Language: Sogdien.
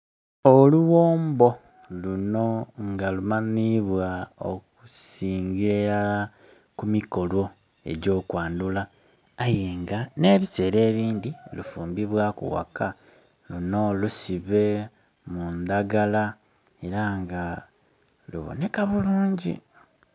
Olughombo lunho nga lumanhibwa okusingila ilala ku mikolo egy'okwandhula aye nga nhe bisera ebindhi lufumbibwaku ghaka, luno lusibe mu ndhagala era nga lubonheka bulungi.